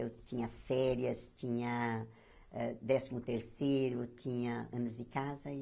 Eu tinha férias, tinha eh décimo terceiro, tinha anos de casa e.